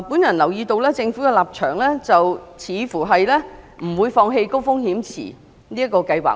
我留意到，政府似乎不會放棄高風險池這個計劃。